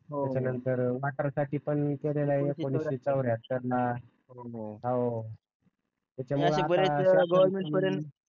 त्याच्या नंतर वॉटर साठी पण हो हो